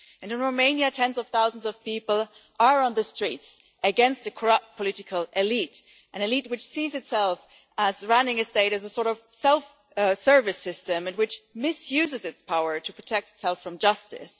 And in Romania, tens of thousands of people are on the streets, against a corrupt political elite an elite which sees itself as running a state as a sort of self service system and which misuses its power to protect itself from justice.